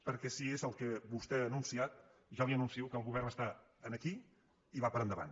perquè si és el que vostè ha anunciat ja li anuncio que el go·vern està aquí i va per endavant